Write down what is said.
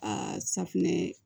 Aa safinɛ